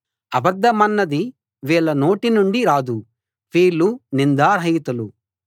అబద్ధమన్నది వీళ్ళ నోటి నుండి రాదు వీళ్ళు నిందా రహితులు